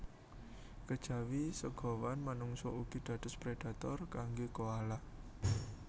Kejawi segawon manungsa ugi dados predhator kanggé koala